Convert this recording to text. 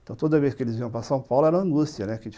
Então, toda vez que eles iam para São Paulo era angústia, né?